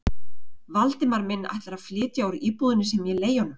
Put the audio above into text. Valdimar minn ætlar að flytja úr íbúðinni sem ég leigi honum?